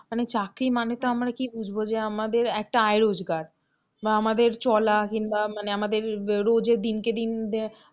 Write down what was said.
চাকরি মানে তো আমরা কি বুঝবো? যে আমাদের একটা আয় রোজগার বা আমাদের চলা কিংবা মানে আমাদের রোজের দিনকে দিন যে,